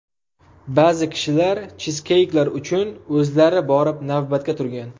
Ba’zi kishilar chizkeyklar uchun o‘zlari borib navbatga turgan.